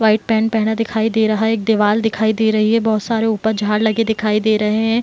white pant पहना दिखाई दे रहा है | एक दीवाल दिखाई दे रही है | बहुत सारे ऊपर झाड़ लगे दिखाई दे रहे हैं |